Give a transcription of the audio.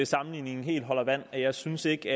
sammenligningen helt holder vand jeg synes ikke